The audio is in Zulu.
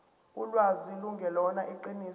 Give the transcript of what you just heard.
ulwazi lungelona iqiniso